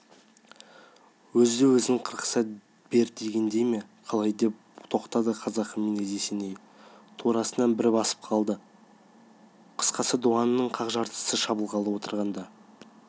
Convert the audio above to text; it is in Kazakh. өзді-өзін қырқыса бер дегендей ме қалай деп тоқтады қазақы мінез есеней турасынан бір басып қалды қысқасы дуаныңның қақ жартысы шабылғалы отырғанда